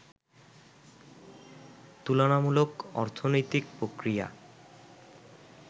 তুলনামূলক অর্থনৈতিক প্রক্রিয়া